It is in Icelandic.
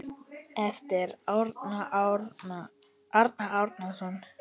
eftir Arnar Árnason